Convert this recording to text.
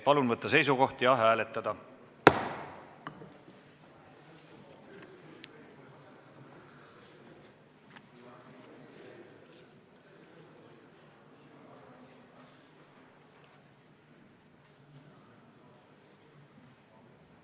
Palun võtta seisukoht ja hääletada!